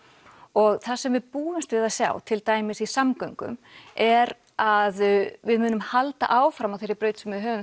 og það sem við búumst við að sjá til dæmis í samgöngum er að við munum halda áfram á þeirri braut sem við höfum